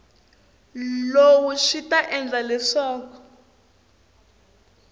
lowu swi ta endla leswaku